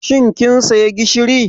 Shin kin saya gishiri?